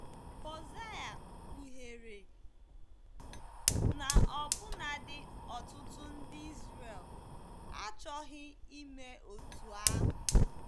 Hosea kpughere na ọbụnadi ọtụtụ ndị Izrel achọghị ime otú ahụ.